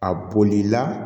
A bolila